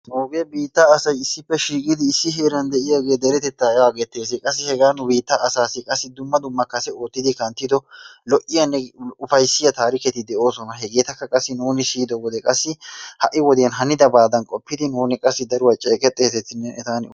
Nuugee issippe shiiqqidi issi heeran diyagee deretettaa yagettees. Qassi hegaa nu biittaa asaassi qassi dumma dumma asi oottidi kanttiddo lo'iyaanne ufaysiya taarikketi de'oosona. Hegetakka qassi nuuni siyido wode ha'i wodiyan hanidaabaadan qoppidi nuuni daruwa ceqettetees eta hanuwa...